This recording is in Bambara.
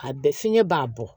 A bɛ fiɲɛ b'a bɔ